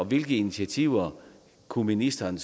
hvilke initiativer kunne ministeren